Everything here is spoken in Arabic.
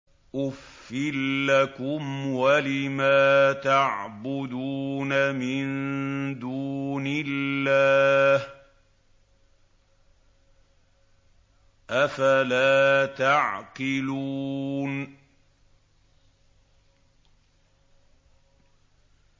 أُفٍّ لَّكُمْ وَلِمَا تَعْبُدُونَ مِن دُونِ اللَّهِ ۖ أَفَلَا تَعْقِلُونَ